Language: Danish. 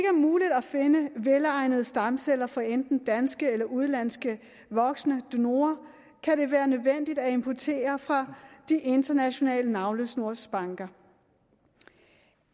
muligt at finde velegnede stamceller fra enten danske eller udenlandske voksne donorer kan det være nødvendigt at importere fra de internationale navlesnorsbanker